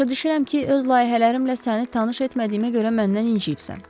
Başa düşürəm ki, öz layihələrimlə səni tanış etmədiyimə görə məndən inciyibsən.